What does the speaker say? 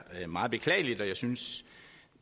meget beklageligt